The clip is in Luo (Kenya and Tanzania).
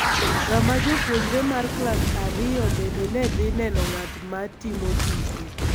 kama japuonjre mar Klas Ariyo bende ne dhi neno ng�at ma timo tuke